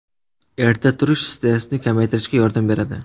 Erta turish stressni kamaytirishga yordam beradi.